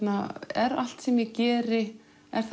er allt sem ég geri